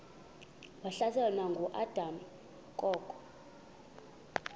wahlaselwa nanguadam kok